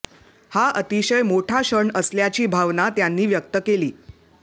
हा अतिशय मोठा क्षण असल्याची भावना त्यांनी व्यक्त केली